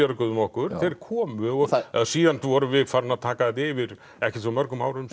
björguðum okkur þeir komu síðan vorum við farin að taka þetta yfir ekkert svo mörgum árum